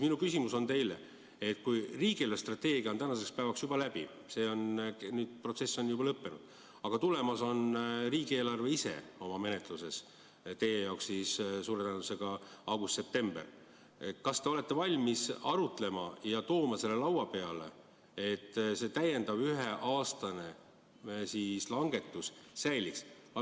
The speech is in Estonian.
Minu küsimus teile on, et kuigi riigi eelarvestrateegia on tänaseks päevaks juba läbi, see protsess on lõppenud, aga tulemas on riigieelarve menetlus, teie jaoks suure tõenäosusega augustis-septembris, siis kas te olete valmis arutama ja tooma lauale, et see täiendav üheaastane langetus säiliks.